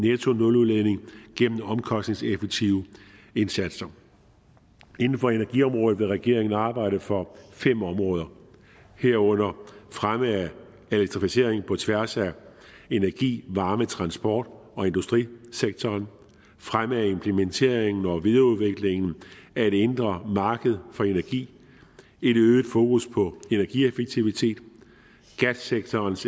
nettonuludledning gennem omkostningseffektive indsatser inden for energiområdet vil regeringen arbejde for fem områder herunder fremme af elektrificering på tværs af energi varme transport og industrisektoren fremme implementeringen og videreudviklingen af et indre marked for energi et øget fokus på energieffektivitet gassektorens